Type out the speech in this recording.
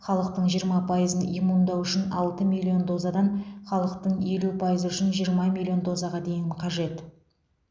халықтың жиырма пайызын иммундау үшін алты миллион дозадан халықтың елу пайызы үшін жиырма миллион дозаға дейін қажет